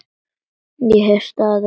Ég hef staðið mig vel.